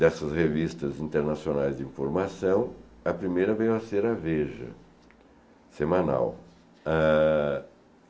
dessas revistas internacionais de informação, a primeira veio a ser a Veja, semanal. Ah